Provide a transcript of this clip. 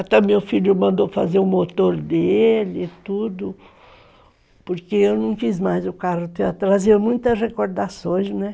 Até meu filho mandou fazer o motor dele e tudo, porque eu não fiz mais o carro, trazia muitas recordações, né?